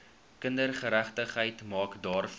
kindergeregtigheid maak daarvoor